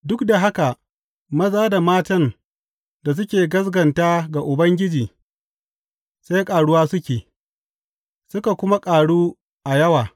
Duk da haka, maza da matan da suke gaskata ga Ubangiji sai ƙaruwa suke, suka kuma ƙaru a yawa.